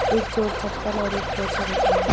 एक जोड़ चप्पल और एक पोछा दिख रहा है।